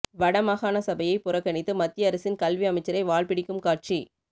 வட மாகாண சபையை புறக்கணித்து மத்திய அரசின் கல்வி அமைச்சரை வால்பிடிக்கும் காட்சி